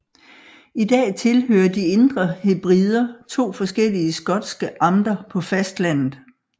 I dag tilhører de Indre Hebrider to forskellige skotske amter på fastlandet